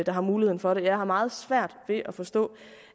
der har muligheden for det jeg har meget svært ved at forstå